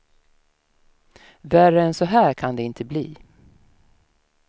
Värre än så här kan det inte bli.